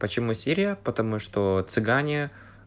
почему серия потому что цыгане